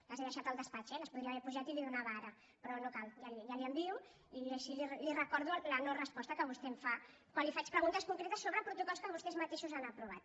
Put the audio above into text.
les he deixat al despatx eh les podria haver pujat i les hi donava ara però no cal ja les hi envio i així li recordo la noresposta que vostè em fa quan li faig preguntes concretes sobre protocols que vostès mateixos han aprovat